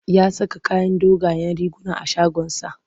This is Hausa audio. Ya saka kayan dogayen riguna a shagonsa.